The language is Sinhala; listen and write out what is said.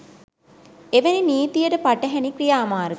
එවැනි නීතියට පටහැණි ක්‍රියාමාර්ග